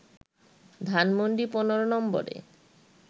ধানমন্ডি ১৫ নম্বরে